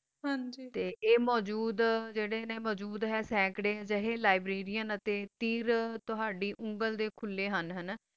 ਹਨ ਜੀ ਤਾ ਆ ਮੋਜਦ ਜਰਾ ਨਾ ਸਕ੍ਰ ਹ ਲਾਬ੍ਰਾਰੀਏਨ ਤਾ ਟਾਰ ਤੋਹਾਦੀ ਉਮੇਰ ਦਾ ਕੋਲਾ ਹਨ